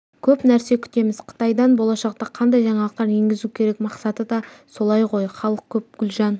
көп нәрсе күтеміз қытайдан болашақта қандай жаңалықтар енгізу керек мақсаты да сол ғой халық көп гүлжан